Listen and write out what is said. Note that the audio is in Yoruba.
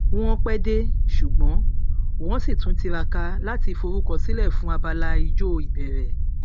wọn pẹ dé ṣùgbọn wọn sì tún tiraka láti forúkọ sílẹ fún abala ijó ìbẹrẹ